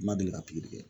N ma deli ka pikiri kɛ